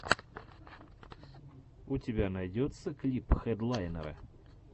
у тебя найдется клип хедлайнера